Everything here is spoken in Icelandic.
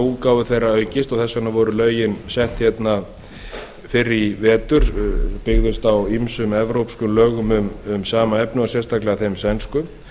útgáfu þeirra aukist og þess vegna voru lögin sett hérna fyrr í vetur byggðust á ýmsum evrópskum lögum um sama efni sérstaklega þeim sænsku